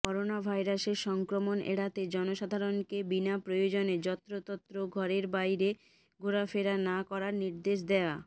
করোনাভাইরাসের সংক্রমণ এড়াতে জনসাধারণকে বিনা প্রয়োজনে যত্রতত্র ঘরের বাইরে ঘোরাফেরা না করার নির্দেশ দেয়া